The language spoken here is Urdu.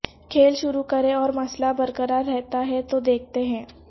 کھیل شروع کریں اور مسئلہ برقرار رہتا ہے تو دیکھتے ہیں